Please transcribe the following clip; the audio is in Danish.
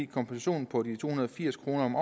kompensationen på de to hundrede og firs kroner om